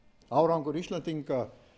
árangur íslendinga